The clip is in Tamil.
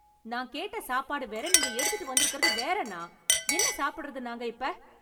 நான் கேட்ட சாப்பாடு வேற, நீங்க எடுத்துட்டு வந்துருக்கறது வேற அண்ணா. என்ன சாப்பிடறது நாங்க இப்ப?